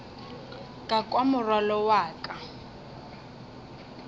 ka kwa morwalo wa ka